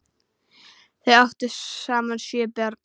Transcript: Þau áttu saman sjö börn.